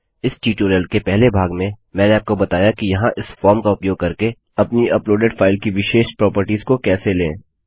इस ट्यूटोरियल के पहले भाग में मैंने आपको बताया कि यहाँ इस फॉर्म का उपयोग करके अपनी अपलोडेड फाइल की विशेष प्रोपर्टिज को कैसे लें